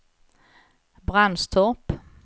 Brandstorp